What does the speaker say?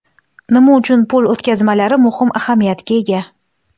Nima uchun pul o‘tkazmalari muhim ahamiyatga ega?